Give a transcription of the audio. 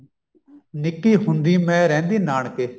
ਨਿੱਕੀ ਹੁੰਦੀ ਮੈਂ ਰਹਿੰਦੀ ਨਾਨਕੇ